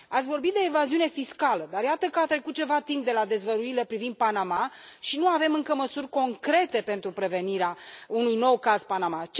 Ați vorbit de evaziune fiscală, dar iată că a trecut ceva timp de la dezvăluirile privind Panama și nu avem încă măsuri concrete pentru prevenirea unui nou caz Panama.